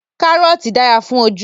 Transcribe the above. Kàrọ́ọ̀tì dára fún ojú